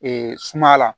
sumaya la